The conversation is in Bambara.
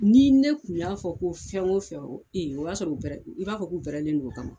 Ni ne tun y'a fɔ ko fɛn o fɛn o o y'a sɔrɔ u pɛrɛ i b'a fɔ k'u pɛrɛnen don o kama.